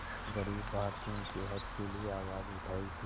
ग़रीब भारतीयों के हक़ के लिए आवाज़ उठाई थी